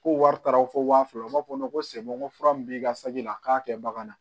Ko wari taara fɔ waa fila u b'a fɔ ko ko fura min b'i ka saki la a k'a kɛ bagan na